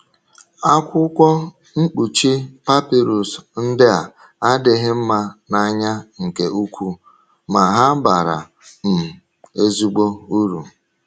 Akwụkwọ mkpuchi papịrụs ndị a adịghị mma n’anya nke ukwuu, ma ha bara um ezigbo uru.